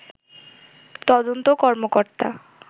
তদন্ত কর্মকর্তা